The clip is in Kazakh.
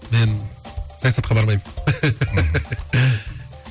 мен саясатқа бармаймын